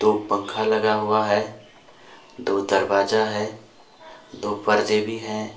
दो पंखा लगा हुआ है दो दरवाजा है दो पर्दे भी हैं।